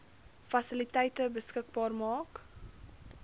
fasiliteite beskikbaar maak